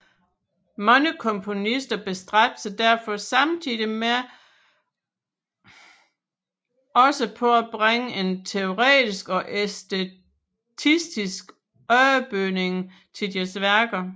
Mange komponister bestræbte sig derfor samtidig også på at bringe en teoretisk og æstetistisk underbygning til deres værker